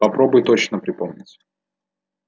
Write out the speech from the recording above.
попробуй точно припомнить